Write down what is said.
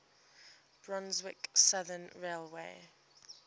brunswick southern railway